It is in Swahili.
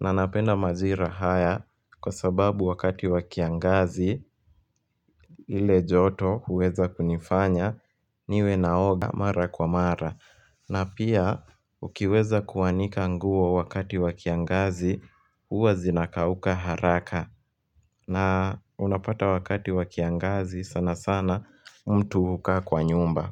na napenda majira haya kwa sababu wakati wa kiangazi ile joto huweza kunifanya niwe naoga mara kwa mara na pia ukiweza kuwanika nguo wakati wa kiangazi huwa zinakauka haraka na unapata wakati wa kiangazi sana sana mtu huka kwa nyumba.